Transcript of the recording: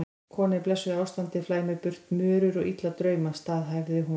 Kona í blessuðu ástandi flæmir burt mörur og illa drauma, staðhæfði hún.